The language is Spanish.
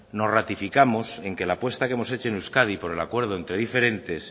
nos ratificamos en que la apuesta que hemos hecho en euskadi por el acuerdo entre diferentes